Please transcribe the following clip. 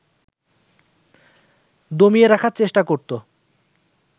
দমিয়ে রাখার চেষ্টা করত